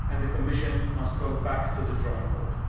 The Commission must go back to the drawing board.